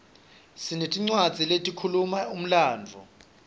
sinetincwadzi letikhuluma umlandvo